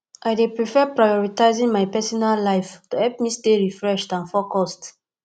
i dey prefer prioritizing my personal life to help me stay refreshed and focused